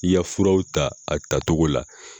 I ka furaw ta a tacogo la.